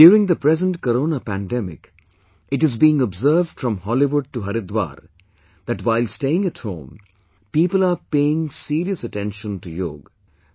During the present Corona pandemic it is being observed from Hollywood to Haridwar that, while staying at home, people are paying serious attention to 'Yoga'